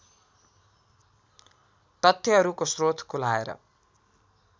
तथ्यहरूको स्रोत खुलाएर